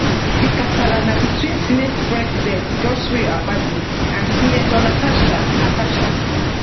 di kasala na between senate president godswill akpabio and senator natasha natasha